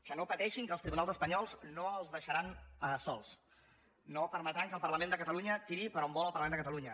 que no pateixin que els tribunals espanyols no els deixaran sols no permetran que el parlament de catalunya tiri per on vol el parlament de catalunya